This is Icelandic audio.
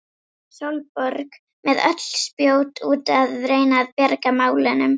Sólborg með öll spjót úti að reyna að bjarga málunum.